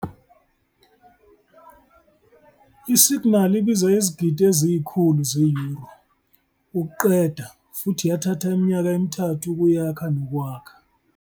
Isiginali ibiza izigidi eziyi-100 ze-Euro ukuqeda futhi yathatha iminyaka emi-3 ukuyakha nokwakha.